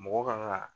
Mɔgɔ kan ka